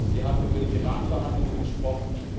Sie haben über die Iran Verhandlungen gesprochen.